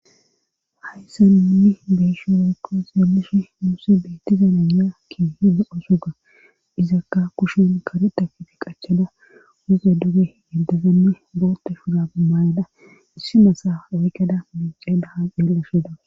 Hayssaninni beeshi weykko zeelishi muusi beettizanaya ki hida osuga izakka kushin kareta kifi qachada wuze duge yeddezanne boote fugaamayada issi masa oygada mince dahan eellasheda.